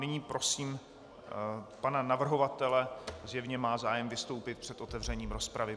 Nyní prosím pana navrhovatele, zjevně má zájem vystoupit před otevřením rozpravy.